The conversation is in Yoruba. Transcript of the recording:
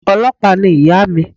Ọlọ́pàá ni ìyà mi